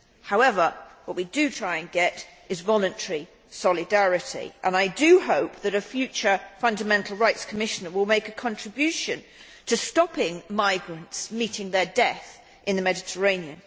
However, what we do try and get is voluntary solidarity, and I do hope that a future Fundamental Rights Commissioner will make a contribution to stopping migrants meeting their death in the Mediterranean.